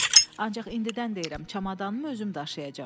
Ancaq indidən deyirəm, çamadanımı özüm daşıyacağam.